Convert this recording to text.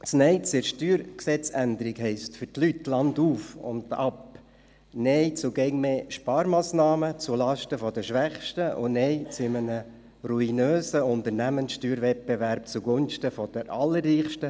Das Nein zur StG-Änderung heisst für die Leute landauf, landab Nein zu immer mehr Sparmassnahmen zulasten der Schwächsten und Nein zu einem ruinösen Steuerwettbewerb zugunsten der Allerreichsten.